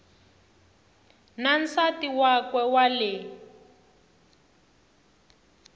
na nsati wakwe wa le